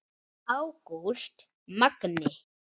Ágúst Magni.